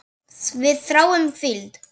Við þráum hvíld.